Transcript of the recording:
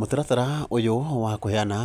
Mũtaratara ũyũ wa kũheana